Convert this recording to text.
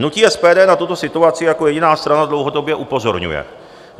Hnutí SPD na tuto situaci jako jediná strana dlouhodobě upozorňuje.